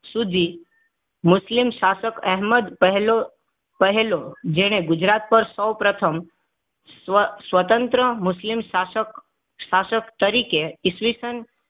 સુધી મુસ્લિમ શાસક અહેમદ પહેલો પહેલો જેને ગુજરાત પર સૌપ્રથમ સ્વ સ્વતંત્ર મુસ્લિમ શાસક શાસક તરીકે ઈ. સ